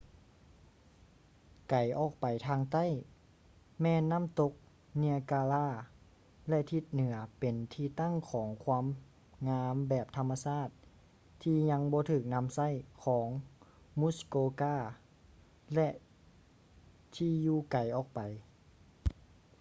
ໄກອອກໄປທາງໃຕ້ ແມ່ນນ້ຳຕົກ ເນຍກາຣາ niagara ແລະ ທິດ ເໜືອເປັນທີ່ຕັ້ງຂອງຄວາມງາມແບບທຳມະຊາດທີ່ຍັງບໍ່ຖືກນຳໃຊ້ ຂອງ ມຸສ໌ໂກກາ muskoka ແລະ ທີ່ຢູ່ໄກອອກໄປ